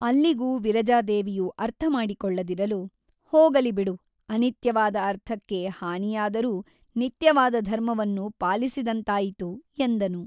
ಅಲ್ಲಿಗು ವಿರಜಾದೇವಿಯು ಅರ್ಥಮಾಡಿಕೊಳ್ಳದಿರಲು ಹೋಗಲಿ ಬಿಡು ಅನಿತ್ಯವಾದ ಅರ್ಥಕ್ಕೆ ಹಾನಿಯಾದರೂ ನಿತ್ಯವಾದ ಧರ್ಮವನ್ನು ಪಾಲಿಸಿದಂತಾಯಿತು ಎಂದನು.